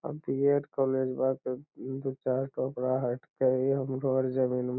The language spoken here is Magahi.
बी.एड. कॉलेज बाट दू चार टोकरा हट के ही हम घर जमीन ही